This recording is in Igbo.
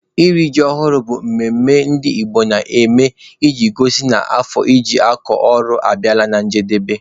Iri ji ọhụrụ bụ mmemme ndị Igbo na-eme iji gosi na afọ eji akọ ọrụ abịala na njedebe.